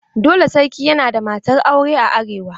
Dole sarki ya na da matar aure a arewa.